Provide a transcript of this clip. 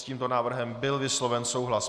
S tímto návrhem byl vysloven souhlas.